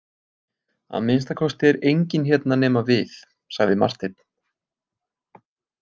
Að minnsta kosti er enginn hérna nema við, sagði Marteinn.